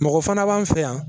Mɔgɔ fana b'an fɛ yan